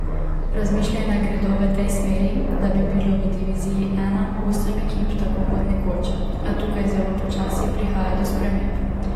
Razmišljanja gredo v tej smeri, da bi bilo v diviziji I osem ekip tako kot nekoč, a tukaj zelo počasi prihaja do sprememb.